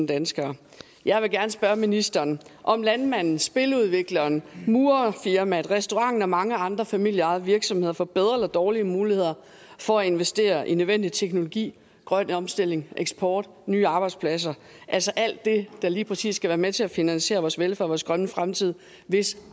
danskere jeg vil gerne spørge ministeren om landmanden spiludvikleren murerfirmaet restauranten og mange andre familieejede virksomheder får bedre eller dårligere muligheder for at investere i nødvendig teknologi grøn omstilling eksport nye arbejdspladser altså alt det der lige præcis skal være med til at finansiere vores velfærd og vores grønne fremtid hvis